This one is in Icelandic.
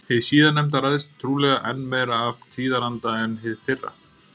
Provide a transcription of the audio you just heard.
Hið síðarnefnda ræðst trúlega enn meira af tíðaranda en hið fyrra.